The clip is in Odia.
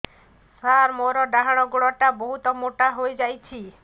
ସାର ମୋର ଡାହାଣ ଗୋଡୋ ବହୁତ ମୋଟା ହେଇଯାଇଛି